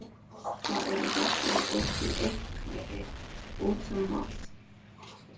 Það eru doppur og flekkir út um allt.